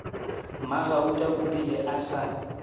mmagauta o rile a sa